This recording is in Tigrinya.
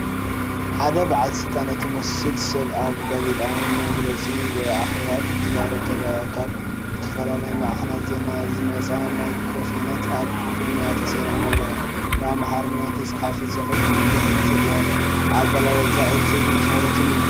ሓንቲ በዓል ስልጣን እትመስል ሰብ ኣብ ጋዜጣዊ መግለጺ ወይ ኣኼባ ክትዛረብ ትረአ። ካብ ዝተፈላለያ ማዕከናት ዜና ዝመጻ ማይክሮፎናት ኣብ ቅድሚኣ ተሰሪዐን ኣለዋ። ብኣምሓርኛ ዝተጻሕፈ ጽሑፍ ብድሕሪት ይርአ። ኣገላልጻኣ ዕቱብን ትኹረትን እዩ።